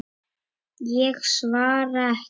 Ég svara ekki.